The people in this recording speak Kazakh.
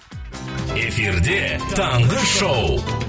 эфирде таңғы шоу